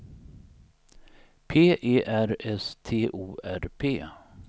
P E R S T O R P